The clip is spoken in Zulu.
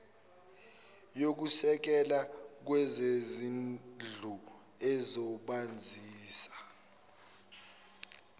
yokusekela kwezezindlu ezobasiza